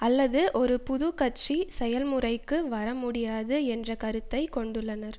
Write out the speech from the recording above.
அல்லது ஒரு புதுக்கட்சி செயல்முறைக்கு வரமுடியாது என்ற கருத்தை கொண்டுள்ளனர்